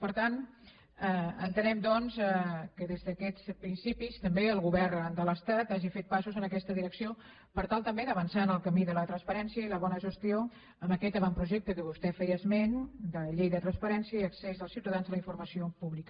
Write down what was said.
per tant entenem doncs que des d’aquests principis també el govern de l’estat hagi fet passos en aquesta direcció per tal també d’avançar en el camí de la transparència i la bona gestió amb aquest avantprojecte a què vostè feia esment de llei de transparència i accés dels ciutadans a la informació pública